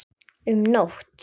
Um nótt